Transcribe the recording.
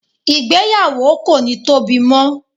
igbeyawo ko ni Tobi mo